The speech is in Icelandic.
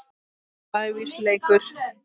lævís leikur.